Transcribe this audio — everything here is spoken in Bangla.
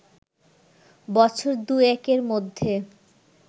বছর দু-একের মধ্যে